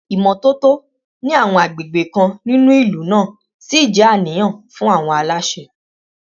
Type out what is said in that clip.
Ìmọ́tótó ní àwọn àgbègbè kan nínú ìlú náà ṣì jẹ́ àníyàn fún àwọn aláṣẹ